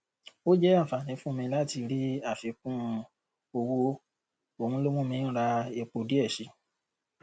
ó jẹ àǹfààní fún mi láti rí àfikún owó òhun ló mú mi ń ra epo díẹ si